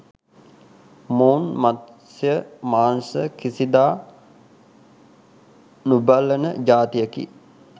මොවුන් මත්ස්‍ය මාංශ කිසිදා නොබලන ජාතියකි.